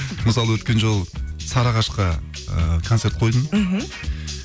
мысалы өткен жолы сарыағашқа і концерт қойдым мхм